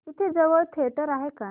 इथे जवळ थिएटर आहे का